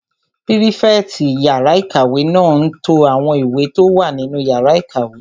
Pírífẹ̀tì yàrá-ìkàwé náà n to àwọn ìwé tó wà nínú yàrá ìkàwé